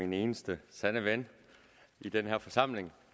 min eneste sande ven i den her forsamling